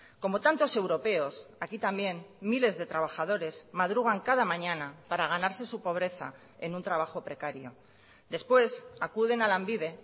como tantos europeos aquí también miles de trabajadores madrugan cada mañana para ganarse su pobreza en un trabajo precario después acuden a lanbide